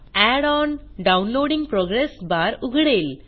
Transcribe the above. add on downloading progress bar उघडेल